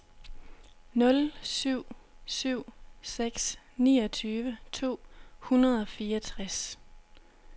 nul syv syv seks niogtyve to hundrede og fireogtres